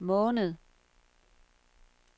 måned